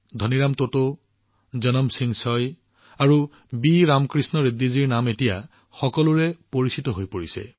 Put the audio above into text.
ধনী ৰাম টোটো জানুম সিং চয় আৰু বি ৰামকৃষ্ণ ৰেড্ডীজী সমগ্ৰ দেশ এতিয়া তেওঁলোকৰ সৈতে পৰিচিত হৈ পৰিছে